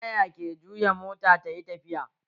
Taya ke juya mota tayi tafiya